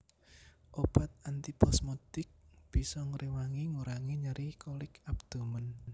Obat antiposmodik bisa ngréwangi ngurangi nyeri kolik abdomen